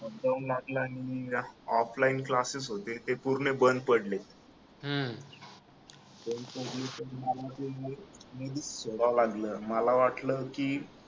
lockdown लागलं आणि offline classes होते ते पूर्ण बंद पडले लागलं मला वाटलं की